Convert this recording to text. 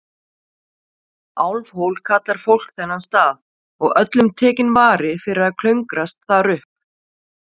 Álfhól kallar fólk þennan stað, og öllum tekinn vari fyrir að klöngrast þar upp.